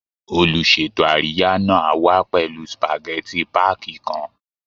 Olùṣètò àríyá náà á wá pẹ̀lú spageti páàkì kan